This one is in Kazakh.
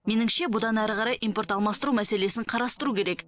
меніңше бұдан әрі қарай импорт алмастыру мәселесін қарастыру керек